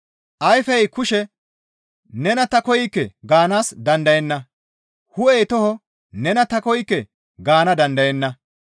Ayfey kushe, «Nena ta koykke» gaanaas dandayenna; hu7ey toho, «Nena ta koykke» gaana dandayenna.